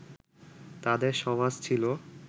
তাদের সমাজ ছিল